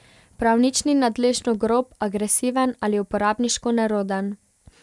Prav nič ni nadležno grob, agresiven ali uporabniško neroden.